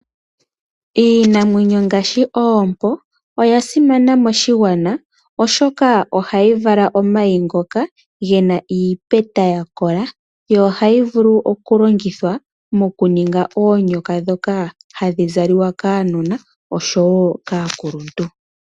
Iinamwenyo ngaashi oompo oya simana moshigwana, oshoka ohayi vala omayi ngoka gena iipeta yakola. Ohayi vulu okulongithwa mokuninga oonyoka ndhoka hadhi zalwa kaanona, osho wo kaakuluntu.